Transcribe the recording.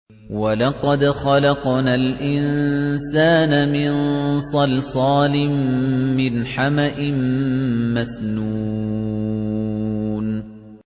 وَلَقَدْ خَلَقْنَا الْإِنسَانَ مِن صَلْصَالٍ مِّنْ حَمَإٍ مَّسْنُونٍ